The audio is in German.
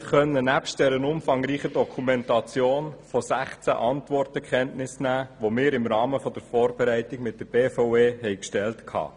Nebst der umfangreichen Dokumentation konnten wir von 16 Antworten Kenntnis nehmen, welche wir im Rahmen der Vorbereitung von der BVE auf unsere Fragen erhielten.